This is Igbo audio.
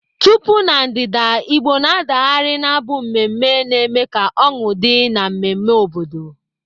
Tupu Na ndịda, Igbo na-adagharị n'abụ emume na-eme ka ọñụ dị n'ememme obodo.